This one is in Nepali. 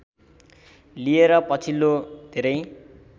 लिएर पछिल्लो धेरै